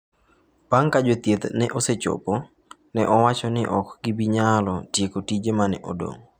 Bang' ka jothieth osechopo, ne owachi ni ok gibi nyalo tieko tiger ma ne odong'.